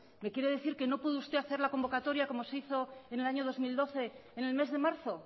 me quiere decir que no puede usted hacer la convocatoria como se hizo en el año dos mil doce en el mes de marzo